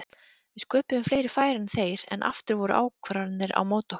Við sköpuðum fleiri færi en þeir en aftur voru ákvarðanir á móti okkur.